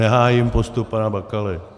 Nehájím postup pana Bakaly.